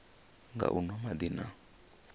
nga u nwa madi na